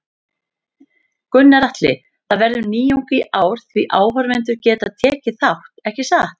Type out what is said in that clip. Gunnar Atli: Það verður nýjung í ár því áhorfendur geta tekið þátt, ekki satt?